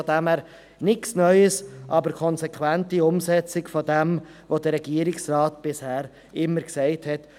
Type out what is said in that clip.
Von dem her gesehen ist dies nichts Neues, aber eine konsequente Umsetzung dessen, was der Regierungsrat bisher immer gesagt hat.